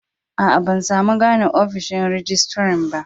Aa, ban samu gane ofishin rijistiran ba.